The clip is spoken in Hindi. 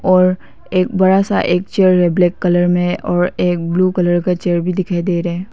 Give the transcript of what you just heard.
और एक बड़ा सा एक चेयर ब्लैक कलर में और एक ब्लू कलर का चेयर भी दिखाई दे रहा हैं।